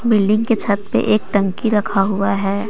Building की छत पे एक टंकी रखा हुआ है ।